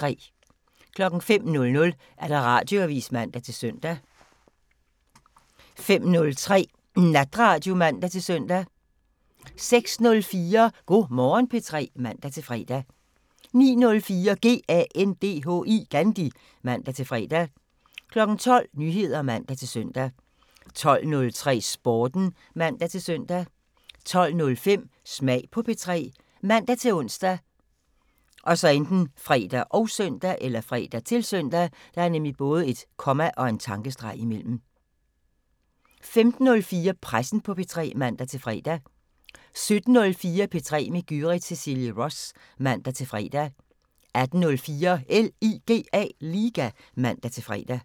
05:00: Radioavisen (man-søn) 05:03: Natradio (man-søn) 06:04: Go' Morgen P3 (man-fre) 09:04: GANDHI (man-fre) 12:00: Nyheder (man-søn) 12:03: Sporten (man-søn) 12:05: Smag på P3 ( man-ons, fre, -søn) 15:04: Pressen på P3 (man-fre) 17:04: P3 med Gyrith Cecilie Ross (man-fre) 18:04: LIGA (man-fre)